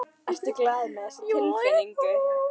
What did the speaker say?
Ertu glaður með þessa tilnefningu?